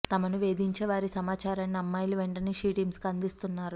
తమను వేధించే వారి సమాచారాన్ని అమ్మాయిలు వెంటనే షీ టీమ్స్ కు అందిస్తున్నారు